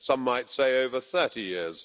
some might say over 30 years.